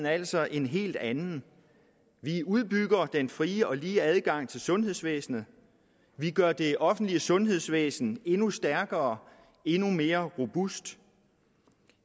altså en helt anden vi udbygger den frie og lige adgang til sundhedsvæsenet vi gør det offentlige sundhedsvæsen endnu stærkere endnu mere robust